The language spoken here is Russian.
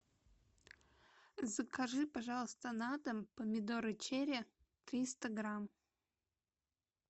закажи пожалуйста на дом помидоры черри триста грамм